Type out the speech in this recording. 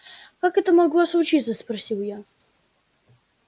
как это могло случиться спросил я